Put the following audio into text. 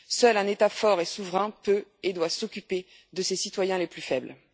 Seul un État fort et souverain peut et doit s'occuper de ses citoyens les plus faibles.